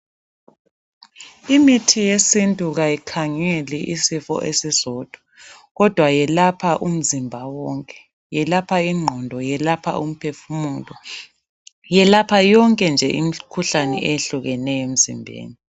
Imithi yesintu kayikhangeli isifo esisodwa, kodwa yelapha umzimba wonke. Yelapha ingqondo, yelapha umphefumulo yelapha yonke nje imkhuhlane ehlukeneyo emzimbeni.